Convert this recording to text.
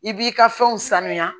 I b'i ka fɛnw sanuya